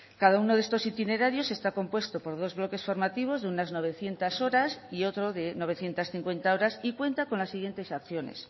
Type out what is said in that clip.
cada uno de estos itinerarios está compuesto por dos bloques formativos de unas novecientos horas y otro de novecientos cincuenta horas y cuenta con las siguientes acciones